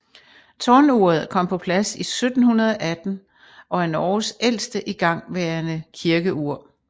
Tårnuret kom på plads i 1718 og er Norges ældste igangværende kirkeur